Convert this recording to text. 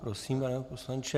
Prosím, pane poslanče.